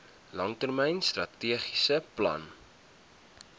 langtermyn strategiese plan